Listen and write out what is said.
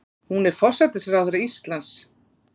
Hún er forsætisráðherra Íslands.